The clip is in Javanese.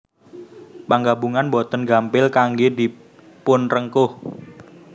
Panggabungan boten gampil kanggé dipunrengkuh